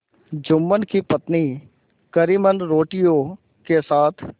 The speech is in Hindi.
जुम्मन की पत्नी करीमन रोटियों के साथ